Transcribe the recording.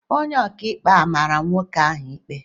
Onye ọka ikpe á mara nwoke ahụ ikpe?